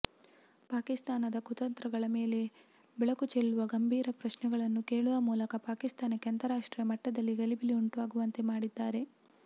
ಪಾಕಿಸ್ತಾನದ ಕುತಂತ್ರಗಳ ಮೇಲೆ ಬೆಳಕು ಚೆಲ್ಲುವ ಗಂಭೀರ ಪ್ರಶ್ನೆಗಳನ್ನು ಕೇಳುವ ಮೂಲಕ ಪಾಕಿಸ್ತಾನಕ್ಕೆ ಅಂತಾರಾಷ್ಟ್ರೀಯ ಮಟ್ಟದಲ್ಲಿ ಗಲಿಬಿಲಿ ಉಂಟಾಗುವಂತೆ ಮಾಡಿದ್ದಾರೆ